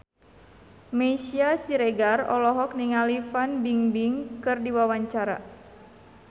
Meisya Siregar olohok ningali Fan Bingbing keur diwawancara